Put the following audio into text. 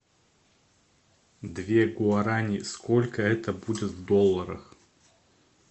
две гуарани сколько это будет в долларах